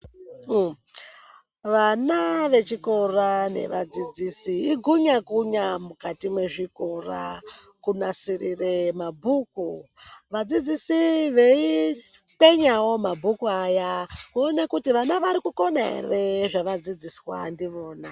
Vana vechikora nevadzidzisi igunyakunya mukati mezvikora kunasirire mabhuku vadzidzisi veikwenyawo mabhuku aya kuona kuti vana varikukona ere zvaadzidziswa ndivona.